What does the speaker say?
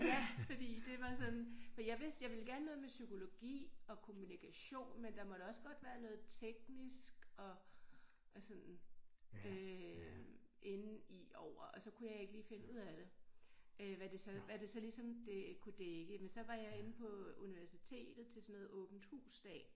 Ja fordi det var sådan for jeg vidste jeg ville gerne noget med psykologi og kommunikation men der måtte også godt være noget teknisk og og sådan øh inde i over og så kunne jeg ikke lige finde ud af det øh hvad det så hvad det så ligesom kunne dække men så var jeg inde på universitetet til sådan noget åben hus dag